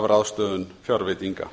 ráðstöfun fjárveitinga